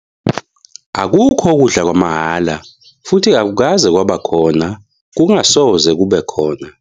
Akukho 'ukudla kwamahhala' futhi akukaze kwaba khona, kungasoze kube khona.